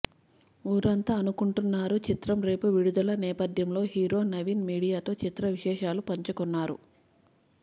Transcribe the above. ఊరంతా అనుకుంటున్నారు చిత్రం రేపు విడుదల నేపథ్యంలో హీరో నవీన్ మీడియాతో చిత్ర విశేషాలు పంచుకున్నారు